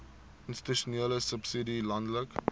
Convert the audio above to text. institusionele subsidie landelike